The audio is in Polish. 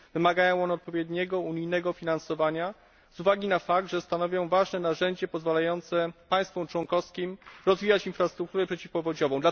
Wymagają one odpowiedniego unijnego finansowania z uwagi na fakt, że stanowią ważne narzędzie pozwalające państwom członkowskim rozwijać infrastrukturę przeciwpowodziową.